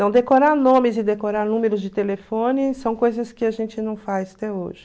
Não decorar nomes e decorar números de telefone são coisas que a gente não faz até hoje.